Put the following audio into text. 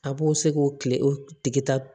A b'o se k'o kile o tigi tigi ta